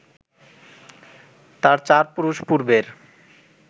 তার চার পুরুষ পূর্বের